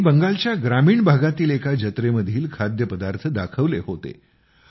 त्यांनी बंगालच्या ग्रामीण भागातील एका जत्रेमधील खाद्यपदार्थ दाखवले होते